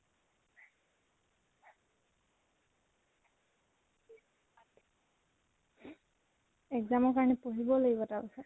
exam ৰ কাৰণে পঢ়িবও লাগিব তাৰ পিছত।